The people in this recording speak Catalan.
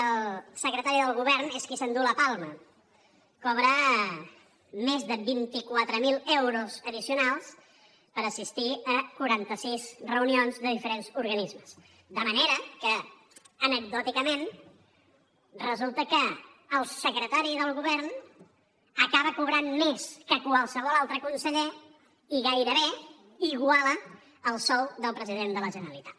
el secretari del govern és qui s’endú la palma cobra més de vint quatre mil euros addicionals per assistir a quaranta sis reunions de diferents organismes de manera que anecdòticament resulta que el secretari del govern acaba cobrant més que qualsevol altre conseller i gairebé iguala el sou del president de la generalitat